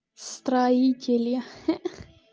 строители хе-хе